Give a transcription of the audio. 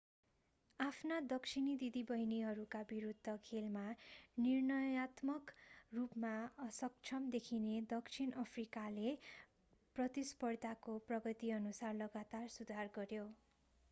आफ्ना दक्षिणी दिदीबहिनीहरूका विरूद्ध खेलमा निर्णयात्मक रूपमा असक्षम देखिने दक्षिण अफ्रिकाले प्रतिस्पर्धाको प्रगतिअनुसार लगातार सुधार गर्‍यो।